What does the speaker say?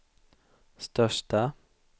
största